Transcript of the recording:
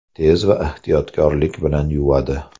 Tez va ehtiyotkorlik bilan yuvadi!